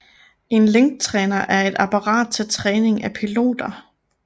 En linktræner er et apparat til træning af piloter